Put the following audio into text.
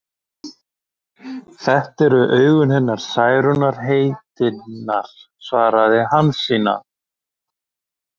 Þetta eru augun hennar Særúnar heitinnar, svaraði Hansína.